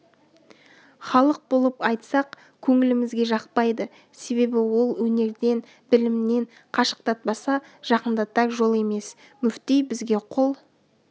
халық болып айтсақ көңілімізге жақпайды себебі ол өнерден білімнен қашықтатпаса жақындатар жол емес мүфти бізге қол